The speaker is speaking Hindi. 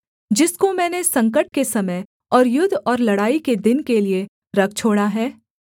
जिसको मैंने संकट के समय और युद्ध और लड़ाई के दिन के लिये रख छोड़ा है